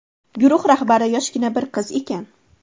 Guruh rahbari yoshgina bir qiz ekan.